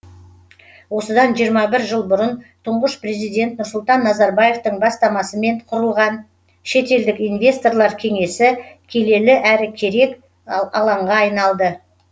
осыдан жиырма бір жыл бұрын тұңғыш президент нұрсұлтан назарбаевтың бастамасымен құрылған шетелдік инвесторлар кеңесі келелі әрі керек алаңға айналды